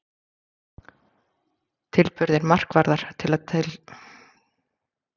Tilburðir markvarðar til þess að tefja leik?